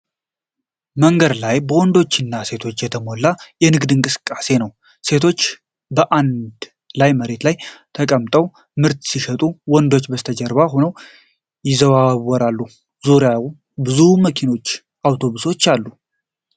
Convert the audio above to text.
መንገድ ላይ በወንዶችና ሴቶች የተሞላ የንግድ እንቅስቃሴ ነው። ሴቶቹ በአንድ ላይ መሬት ላይ ተቀምጠው ምርት ሲሸጡ፣ ወንዶቹ ከበስተጀርባ ሆነው ይዘዋወራሉ። በዙሪያው ብዙ መኪኖችና አውቶቡሶች አሉ።